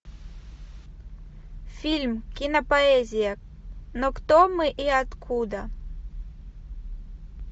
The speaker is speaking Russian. фильм кинопоэзия но кто мы и откуда